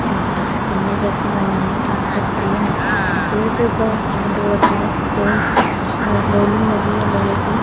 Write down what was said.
ऊं तंबू जैसे बने हुए हैं आसपास पेड़ है पेड़ के ऊपर पेंट हो रखा है और रेलिंग लगी है लोहे की--